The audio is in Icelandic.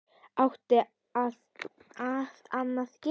Átti hann að gera það??